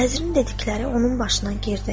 Vəzrin dedikləri onun başına girdi.